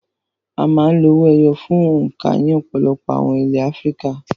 A máa ń lo owó ẹyọ fún òǹkà ní ọ̀pọ̀lọpọ̀ àwọn ilẹ̀ Áfíríkà.